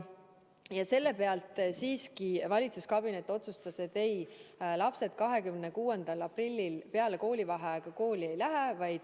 Ja nende alusel siiski valitsuskabinet otsustas, et lapsed 26. aprillil peale koolivaheaega kooli ei lähe.